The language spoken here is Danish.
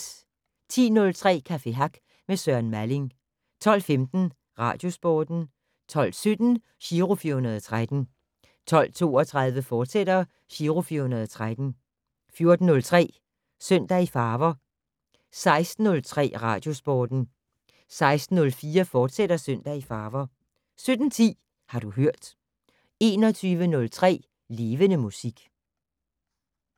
10:03: Café Hack med Søren Malling 12:15: Radiosporten 12:17: Giro 413 12:32: Giro 413, fortsat 14:03: Søndag i farver 16:03: Radiosporten 16:04: Søndag i farver, fortsat 17:10: Har du hørt 21:03: Levende Musik